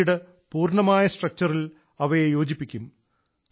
പിന്നീട് പൂർണമായ സ്ട്രക്ചറിൽ അവയെ യോജിപ്പിക്കും